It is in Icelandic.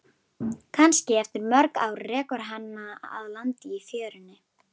Kannski eftir mörg ár rekur hana að landi í fjörunni.